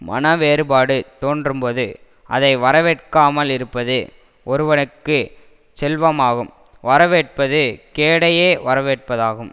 மனவேறுபாடு தோன்றும்போது அதை வரவேற்காமல் இருப்பது ஒருவனுக்கு செல்வமாகும் வரவேற்பது கேடையே வரவேற்பதாகும்